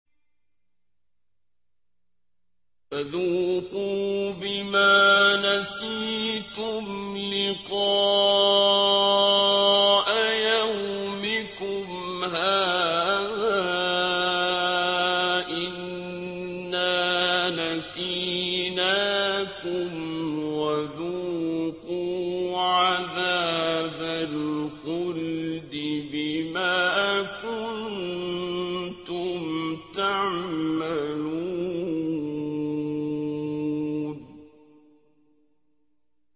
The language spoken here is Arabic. فَذُوقُوا بِمَا نَسِيتُمْ لِقَاءَ يَوْمِكُمْ هَٰذَا إِنَّا نَسِينَاكُمْ ۖ وَذُوقُوا عَذَابَ الْخُلْدِ بِمَا كُنتُمْ تَعْمَلُونَ